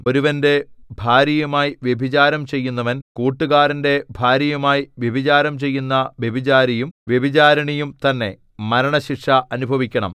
ഒരുവന്റെ ഭാര്യയുമായി വ്യഭിചാരം ചെയ്യുന്നവൻ കൂട്ടുകാരന്റെ ഭാര്യയുമായി വ്യഭിചാരം ചെയ്യുന്ന വ്യഭിചാരിയും വ്യഭിചാരിണിയും തന്നെ മരണശിക്ഷ അനുഭവിക്കണം